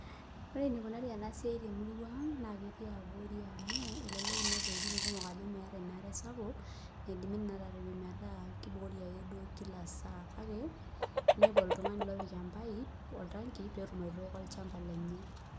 Ore enikunari enasiai temurua aang naketii abori amu elelek inepu wuejitin kumok ajo meeta enaare sapuk naidimi atipik metaa kibukori a ke duo kila saa kake inepu oltungani opik oltangi orpaip petumokibaitooko olchamba lenye.